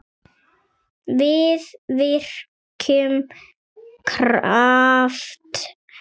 Við virkjum kraft hennar.